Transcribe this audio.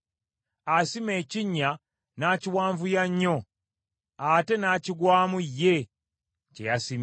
Asima ekinnya, n’akiwanvuya nnyo; ate n’akigwamu ye kye yasimye.